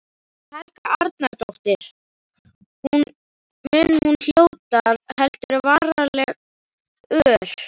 Helga Arnardóttir: Mun hún hljóta, heldurðu, varanleg ör?